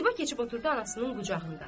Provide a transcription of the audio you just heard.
Ziba keçib oturdu anasının qucağında.